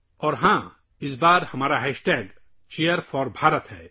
اور ہاں.. اس بار ہمارا ہیش ٹیگ #چیئرفار بھارت ہے